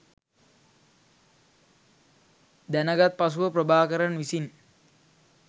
දැනගත් පසුව ප්‍රභාකරන් විසින්